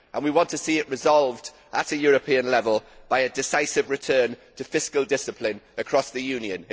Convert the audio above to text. We want to see it resolved at a European level by a decisive return to fiscal discipline across the Union.